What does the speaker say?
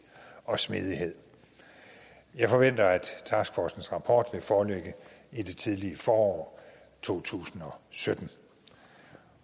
og smidighed jeg forventer at taskforcens rapport vil foreligge i det tidlige forår to tusind og sytten